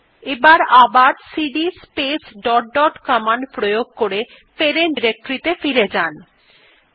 এবার CD space dot dot প্রয়োগ করে প্যারেন্ট ডিরেক্টরী ত়ে ফিরে যাওয়া যাক